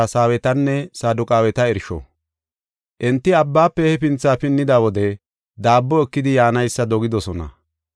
Enti abbaafe hefinthi pinnida wode daabbo ekidi yaanaysa dogidosona.